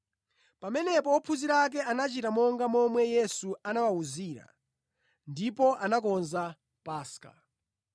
Pamenepo ophunzira ake anachita monga momwe Yesu anawawuzira ndipo anakonza Paska.